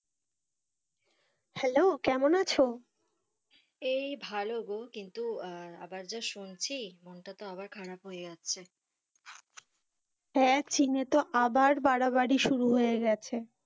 Hello কেমন আছো? এই ভালো গো, কিন্তু আবার যা শুনছি মনটা তো আবার খারাপ হয়ে যাচ্ছে। হ্যাঁ চীনে তো আবার বাড়াবাড়ি শুরু হয়ে গেছে।